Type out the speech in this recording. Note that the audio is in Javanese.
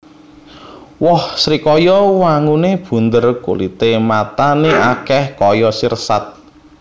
Woh srikaya wanguné bunder kulité matané akèh kaya sirsat